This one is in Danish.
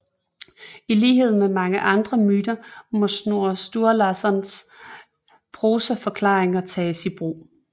I lighed med mange andre myter må Snorre Sturlassons prosaforklaringer tages i brug